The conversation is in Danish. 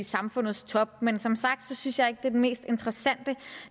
samfundets top men som sagt synes jeg ikke det er den mest interessante